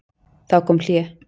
Þá kom hlé.